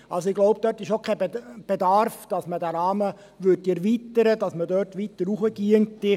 Ich glaube, dass dort auch kein Bedarf besteht, diesen Rahmen zu erweitern, sodass man dort weiter hinaufgehen müsste.